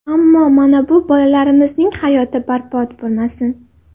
Ammo mana bu bolalarimizning hayoti barbod bo‘lmasin.